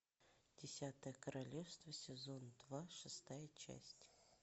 десятое королевство сезон два шестая часть